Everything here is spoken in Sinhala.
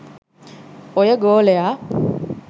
ඔය ගෝලයා